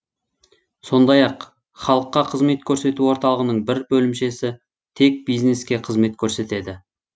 сондай ақ халыққа қызмет көрсету орталығының бір бөлімшесі тек бизнеске қызмет көрсетеді